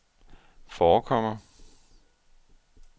forekommer